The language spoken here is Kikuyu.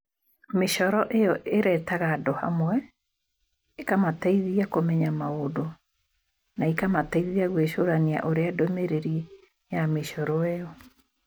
Mĩcoro io ĩretaga andũ hamwe, ĩkamateithia kũmenya maũndũ, na ĩkamateithia gwĩcũrania ũrĩa ndũmĩrĩri ya mĩcoro io.